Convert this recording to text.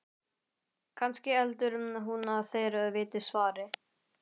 Kannski heldur hún að þeir viti svarið?